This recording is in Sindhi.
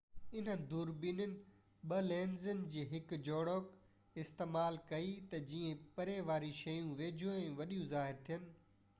انهن دوربينين ٻہ لينسز جي هڪ جوڙجڪ استعمال ڪئي تہ جيئن پري واريون شيون ويجهو ۽ وڏيو ظاهر ٿين